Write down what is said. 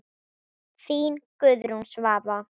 Þín Guðrún Svava.